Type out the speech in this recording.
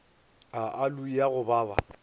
a aloe ya go baba